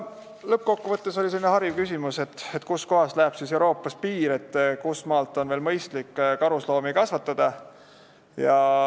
Lõppkokkuvõttes oli selline hariv küsimus, kus kohas läheb Euroopas piir, kust maalt on veel mõistlik karusloomi kasvatada.